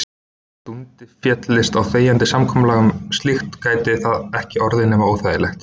Dundi féllist á þegjandi samkomulag um slíkt gæti það ekki orðið nema óþægilegt.